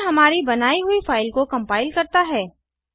यह हमारी बनाई हुई फ़ाइल को कम्पाइल करता है